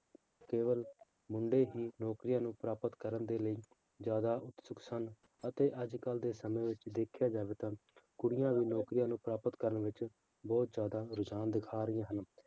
ਕੇਵਲ ਮੁੰਡੇ ਹੀ ਨੌਕਰੀਆਂ ਨੂੰ ਪ੍ਰਾਪਤ ਕਰਨ ਦੇ ਲਈ ਜ਼ਿਆਦਾ ਉਤਸੁਕ ਸਨ ਅਤੇ ਅੱਜ ਕੱਲ੍ਹ ਦੇ ਸਮੇਂ ਵਿੱਚ ਦੇਖਿਆ ਜਾਵੇ ਤਾਂ ਕੁੜੀਆਂ ਵੀ ਨੌਕਰੀਆਂ ਨੂੰ ਪ੍ਰਾਪਤ ਕਰਨ ਵਿੱਚ ਬਹੁਤ ਜ਼ਿਆਦਾ ਰੁਝਾਨ ਦਿਖਾ ਰਹੀਆਂ ਹਨ।